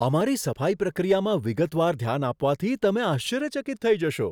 અમારી સફાઈ પ્રક્રિયામાં વિગતવાર ધ્યાન આપવાથી તમે આશ્ચર્યચકિત થઈ જશો.